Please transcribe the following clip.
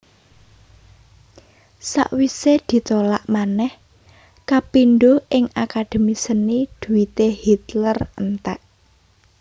Sawisé ditolak manèh kapindho ing Akademi Seni dhuwité Hitler entèk